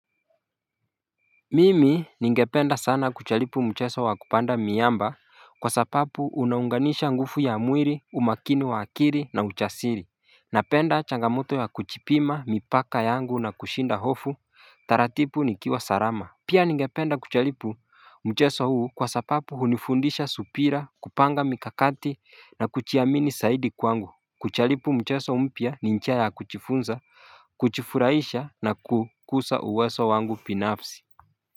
Mimi ningependa sana kuchalipu mcheso wa kupanda miamba kwa sapapu unaunganisha ngufu ya mwiri umakini wa akiri na uchasiri Napenda changamoto ya kuchipima mipaka yangu na kushinda hofu taratipu nikiwa sarama Pia ningependa kuchalipu mcheso huu kwa sapapu hunifundisha supira kupanga mikakati na kuchiamini saidi kwangu Kuchalipu mcheso mpya ni nchia ya kuchifunza kuchifuraisha na kukusa uweso wangu pinapsi.